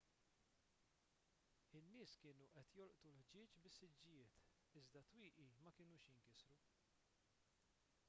in-nies kienu qed jolqtu l-ħġieġ bis-siġġijiet iżda t-twieqi ma kinux jinkisru